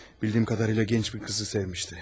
Bildiyim kadarıyla gənc bir kızı sevmişdi.